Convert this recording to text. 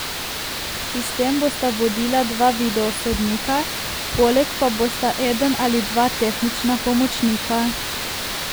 Sistem bosta vodila dva video sodnika, poleg pa bosta eden ali dva tehnična pomočnika.